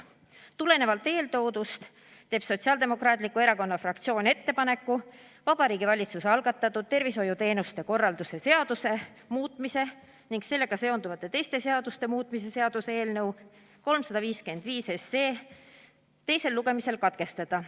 Tulenevalt eeltoodust teeb Sotsiaaldemokraatliku Erakonna fraktsioon ettepaneku Vabariigi Valitsuse algatatud tervishoiuteenuste korraldamise seaduse muutmise ning sellega seonduvalt teiste seaduste muutmise seaduse eelnõu 355 teine lugemine katkestada.